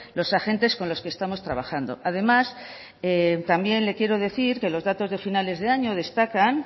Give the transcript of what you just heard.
los agentes con los que estamos trabajando además también le quiero decir que los datos de finales de año destacan